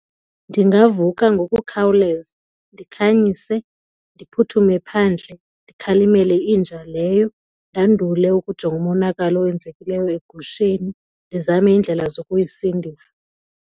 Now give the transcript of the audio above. Ndingavuka ngokukhawuleza, ndikhanyise, ndiphuthume phandle ndikhalimele inja leyo ndandule ukujonga umonakalo owenzekileyo egusheni ndizame iindlela zokuyisindisa.